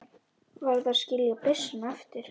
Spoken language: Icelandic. Varð að skilja byssuna eftir.